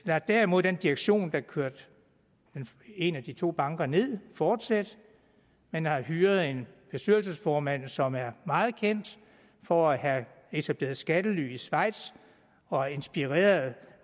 lader derimod den direktion der kørte en af de to banker ned fortsætte man har hyret en bestyrelsesformand som er meget kendt for at have etableret skattely i schweiz og inspireret